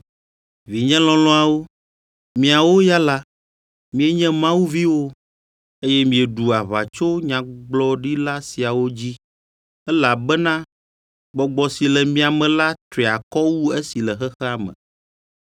Vinye lɔlɔ̃awo, miawo ya la, mienye Mawu viwo, eye mieɖu aʋatsonyagbɔɖila siawo dzi; elabena Gbɔgbɔ si le mia me la tri akɔ wu esi le xexea me.